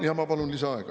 Jaa, ma palun lisaaega.